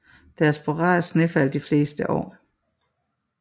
Der er sporadiske snefald de fleste år